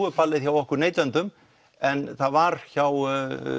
er ballið hjá okkur neytendum en það var hjá